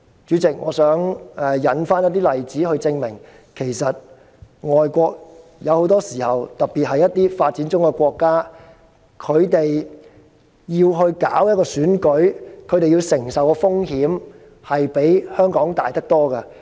主席，我想引述一些例子，證明其實很多時候外國——特別是發展中國家——舉辦一場選舉，要承受的風險比香港大得多。